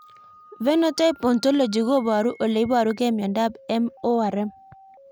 Phenotype ontology koparu ole iparug'ei miondop MORM